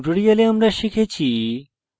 in tutorial আমরা শিখেছি